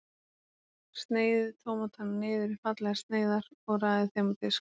Sneiðið tómatana niður í fallegar sneiðar og raðið þeim á disk.